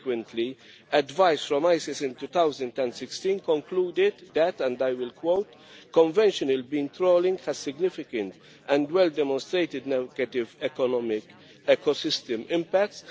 Subsequently, advice from ICES in 2016 concluded that and I will quote conventional beam trawling has significant and well demonstrated negative economic ecosystem impacts.